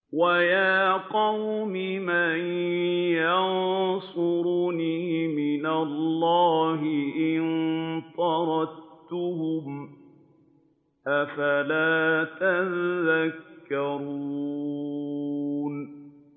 وَيَا قَوْمِ مَن يَنصُرُنِي مِنَ اللَّهِ إِن طَرَدتُّهُمْ ۚ أَفَلَا تَذَكَّرُونَ